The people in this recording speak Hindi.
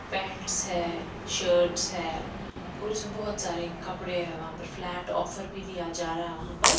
पैंट्स है शर्ट्स है और उसमें बहुत सारे कपड़े हैं वहां पर फ्लैट ऑफर भी दिया जा रहा है वहां पर--